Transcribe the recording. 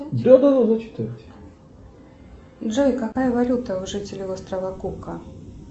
джой какая валюта у жителей острова кука